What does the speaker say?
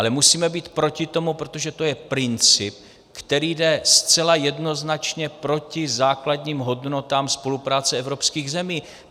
Ale musíme být proti tomu, protože to je princip, který jde zcela jednoznačně proti základním hodnotám spolupráce evropských zemí.